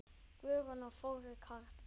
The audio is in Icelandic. Guðrún og Þórir Karl.